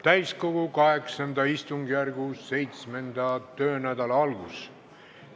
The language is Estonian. Täiskogu VIII istungjärgu 7. töönädala algus.